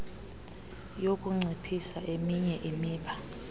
yokunciphisa eminye imiba